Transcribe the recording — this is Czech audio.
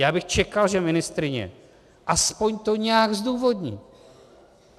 Já bych čekal, že ministryně aspoň to nějak zdůvodní.